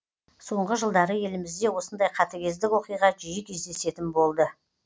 соңғы жылдары елімізде осындай қатыгездік оқиға жиі кездесетін болды